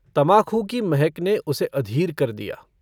तमाखू की महक ने उसे अधीर कर दिया।